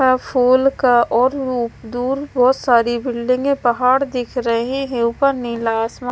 full का और दूर बहोत सारी बिल्डिंगे पहाड़ दिख रहे है ऊपर नीला आसमां--